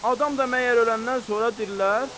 Adam da məyər öləndən sonra dirilər?